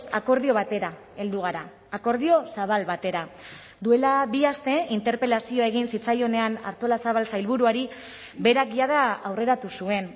akordio batera heldu gara akordio zabal batera duela bi aste interpelazioa egin zitzaionean artolazabal sailburuari berak jada aurreratu zuen